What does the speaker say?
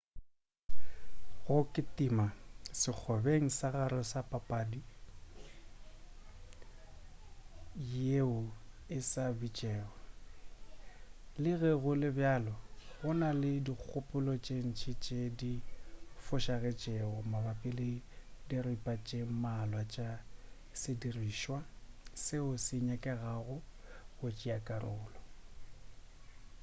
go kitima sekgobeng sa gare ke papadi yeo e sa bitšego le ge go le bjalo go na le dikgopolo tše dintši tše di fošagetšego mabapi le diripa tše mmalwa tša sedirišwa seo se nyakegago go tšea karolo